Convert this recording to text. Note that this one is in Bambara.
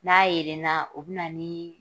N'a yelenna o bɛ na ni